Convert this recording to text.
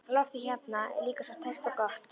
Loftið hérna er líka svo tært og gott.